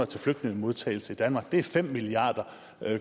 til flygtningemodtagelse i danmark det er fem milliard